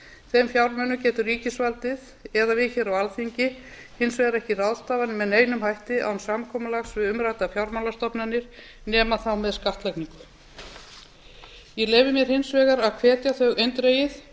þeim fjármunum geta ríkisvaldið að við á alþingi hins vegar ekki ráðstafað með neinum hætti á samkomulags við umræddar fjármálastofnanir nema þá með skattlagningu ég leyfi mér hins vegar að hvetja